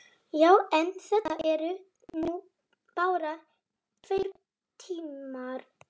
Já, en þetta eru nú bara tveir tímar.